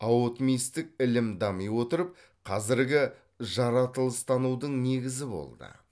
аотмистік ілім дами отырып қазіргі жаратылыстанудың негізі болды